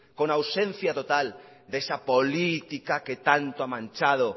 con ausencia total de esa política que tanto ha manchado